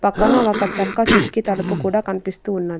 పక్కన ఒక చెక్క కిటికీ తలుపు కూడా కనిపిస్తూ ఉన్నది.